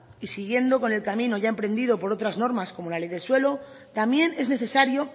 y siguiendo con el camino ya emprendido por otras normas como la ley del suelo también es necesario